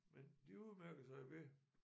Men de udmærker sig ved